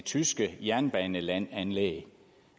tyske jernbanelandanlæg